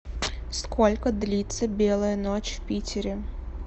сколько длится белая ночь в питере